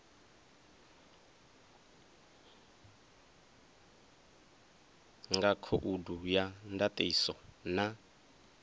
nga khoudu ya ndatiso na